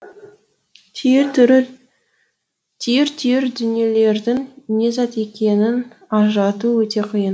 түйір түйір дүниелердің не зат екенін ажырату өте қиын